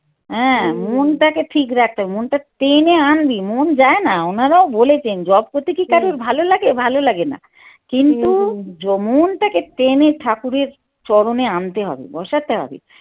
হ্যাঁ মনটাকে ঠিক রাখতে হবে মনটা টেনে আনবি মন যায় না ওনারাও বলেছেন যপ করতে কী কারো ভালো লাগে ভালে লাগে না কিন্তু মন টাকে টেনে ঠাকুরের চরণে আনতে হবে বসাতে হবে ।